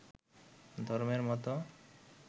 ধর্মের মতো